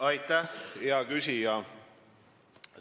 Aitäh, hea küsija!